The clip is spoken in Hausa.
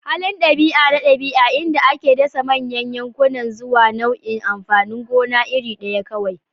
Halin ɗabi'a na ɗabi'a, inda ake dasa manyan yankuna zuwa nau'in amfanin gona iri ɗaya kawai.